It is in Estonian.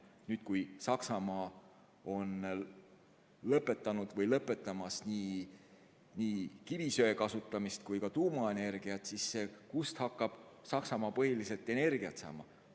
Nüüd, kui Saksamaa on lõpetanud või lõpetamas nii kivisöe kui ka tuumaenergia kasutamist, siis kust hakkab Saksamaa põhiliselt energiat saama?